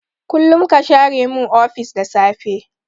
Kullun ka share min ofis da safe.